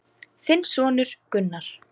Þinn sonur Gunnar.